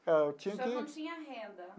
Ah eu tinha que. O senhor não tinha renda.